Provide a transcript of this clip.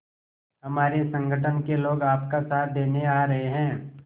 हमारे संगठन के लोग आपका साथ देने आ रहे हैं